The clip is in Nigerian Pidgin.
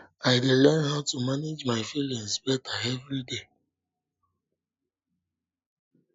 i dey learn how to manage my feelings better every day